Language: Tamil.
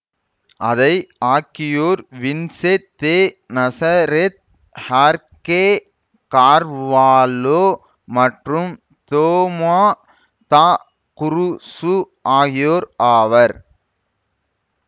அதை ஆக்கியோர் வின்சென்ட் தெ நாசரெத் ஹார்கே கார்வாலோ மற்றும் தோமா த குருசு ஆகியோர் ஆவர்